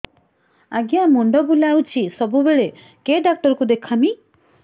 ଆଜ୍ଞା ମୁଣ୍ଡ ବୁଲାଉଛି ସବୁବେଳେ କେ ଡାକ୍ତର କୁ ଦେଖାମି